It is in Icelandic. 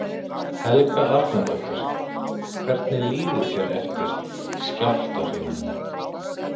Helga Arnardóttir: Hvernig líður þér eftir skjálftahrinuna?